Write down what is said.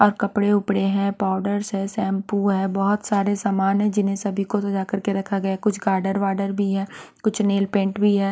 और कपड़े-उपड़े हैं पाउडर्स हैं शैंपू हैं बहुत सारे सामान हैं जिन्हें सभी को सजा करके रखा गया हैं कुछ गार्डर वार्डर भी है कुछ नेल पेंट भी हैं।